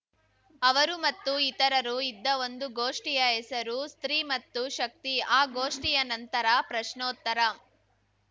ಅವರು ಮತ್ತು ಇತರರು ಇದ್ದ ಒಂದು ಗೋಷ್ಠಿಯ ಹೆಸರು ಸ್ತ್ರೀ ಮತ್ತು ಶಕ್ತಿ ಆ ಗೋಷ್ಠಿಯ ನಂತರ ಪ್ರಶ್ನೋತ್ತರ